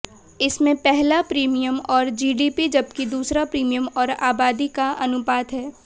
इसमें पहला प्रीमियम और जीडीपी जबकि दूसरा प्रीमियम और आबादी का अनुपात है